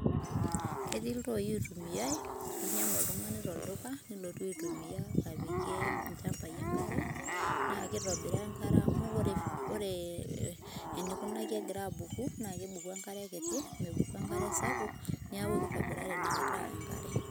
Ketii iltooi ooitumiai linyang'u oltung'ani tolduka, nilotu aitumia apikie ilchambai enkare, naa kitobiraa enkare amu ore eneikunaki egira abuku naa kebuku enkare kiti neaku kitobirari enkare